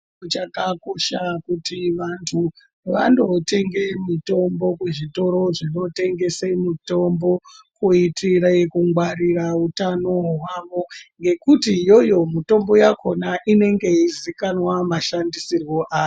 Zvakakosha kuti vantvanotenga mitombo kuzvitoro zvinotengesa mitombo kuitira kungwarira utano hwavo ngekuti iyoyo mitombo yakona inenge yeizikanwa mashandisirwo ayo.